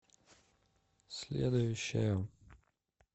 следующая